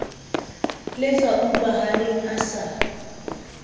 le sa utlwahaleng a sa